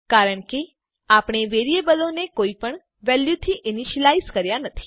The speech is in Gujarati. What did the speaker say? કારણ કે આપણે વેરીએબલો ને કોઈપણ વેલ્યુથી ઈનીશ્યલાઈઝ કર્યા નથી